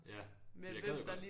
Ja for jeg gad godt